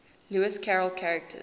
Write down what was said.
lewis carroll characters